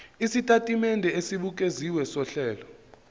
sesitatimende esibukeziwe sohlelo